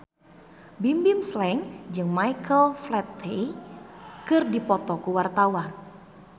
Bimbim Slank jeung Michael Flatley keur dipoto ku wartawan